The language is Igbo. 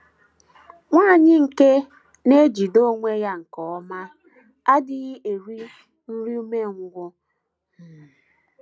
Nwanyị nke na - ejide onwe ya nke ọma adịghị eri “ nri umengwụ um ”